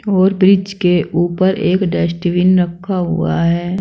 और ब्रिज के ऊपर एक डस्टबिन रखा हुआ है।